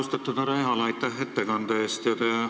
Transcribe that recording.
Austatud härra Ehala, aitäh ettekande eest!